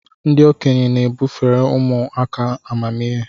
Ndị okenye bufere ụmụ aka amamihe.